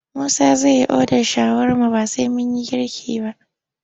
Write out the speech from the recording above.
Musa zai yi odar shawarma ba sai mun yi girki ba.